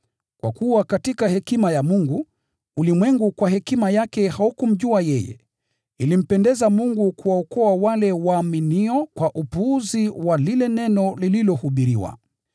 Kwa kuwa katika hekima ya Mungu, ulimwengu kwa hekima yake haukumjua yeye, ilimpendeza Mungu kuwaokoa wale walioamini kwa upuzi wa lile neno lililohubiriwa.